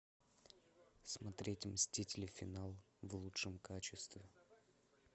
смотреть мстители финал в лучшем качестве